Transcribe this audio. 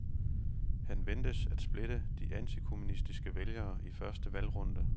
Han ventes at splitte de antikommunistiske vælgere i første valgrunde.